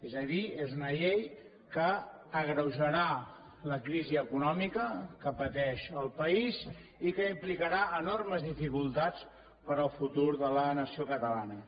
és a dir és una llei que agreujarà la crisi econòmica que pateix el país i que implicarà enormes dificultats per al futur de la nació catalana